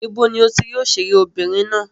Ibo ni o ti rí òṣèré obìnrin ná?